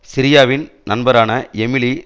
சிரியாவின் நண்பரான எமிலி